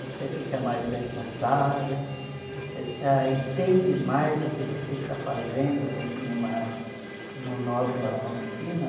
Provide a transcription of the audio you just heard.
Você fica mais responsável, você ah entende mais o que você está fazendo dentro de uma, como nós lá, uma oficina.